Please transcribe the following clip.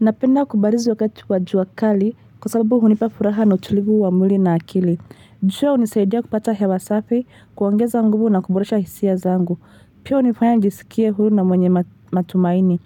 Napenda kubarizu wakati wajua kali kwa sababu hunipafuraha na utulivu wa mwili na akili. Njoo hunisaidia kupata hewasafi, kuongeza nguvu na kuboresha hisiya zangu. Pia unifanya njisikie hulu na mwenye matumaini.